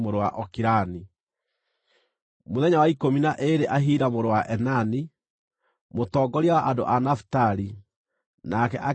Mũthenya wa ikũmi na ĩĩrĩ Ahira mũrũ wa Enani, mũtongoria wa andũ a Nafitali, nake akĩrehe maruta make.